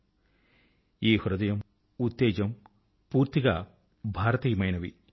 ఈ heart spirit హృదయం ఉత్తేజం భారతీయమైనవి